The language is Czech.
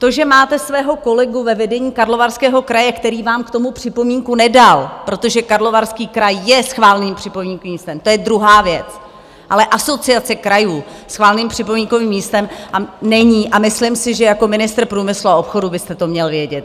To, že máte svého kolegu ve vedení Karlovarského kraje, který vám k tomu připomínku nedal, protože Karlovarský kraj je schváleným připomínkovým místem, to je druhá věc, ale Asociace krajů schváleným připomínkovým místem není, a myslím si, že jako ministr průmyslu a obchodu byste to měl vědět.